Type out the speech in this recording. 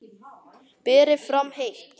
Berið fram heitt.